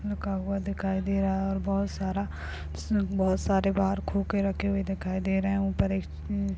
लिखा हुआ दिखाई दे रहा हैं और बहोत सारा उस बहोत सारे बाहर खोखे रखे हुए दिखाई दे रहे हैं। ऊपर एक --